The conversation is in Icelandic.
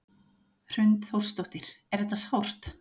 Hrund Þórsdóttir: Er þetta sárt?